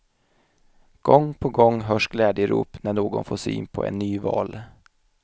Gång på gång hörs glädjerop när någon får syn på en ny val.